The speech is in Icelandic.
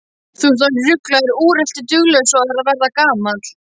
Þú ert orðinn ruglaður, úreltur, duglaus og að verða gamall.